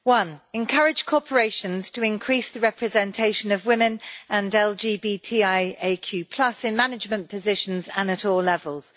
Firstly, encourage corporations to increase the representation of women and LGBTIAQ in management positions and at all levels.